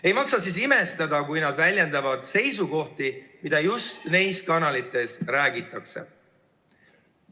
Ei maksa siis imestada, kui nad väljendavad seisukohti, mida just neis kanalites avaldatakse.